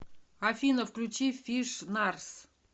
афина включи фиш нарс